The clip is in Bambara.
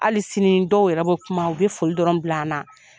Hali sini dɔw yɛrɛ bɛ kuma u bɛ foli dɔrɔn bila an na.